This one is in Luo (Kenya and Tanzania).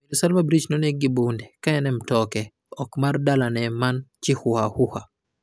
Mirosalva Breach ne onegi gi bunde ka en e mtoke oko mar dalane man Chihuahua.